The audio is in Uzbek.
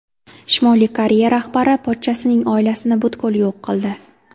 Shimoliy Koreya rahbari pochchasining oilasini butkul yo‘q qildi.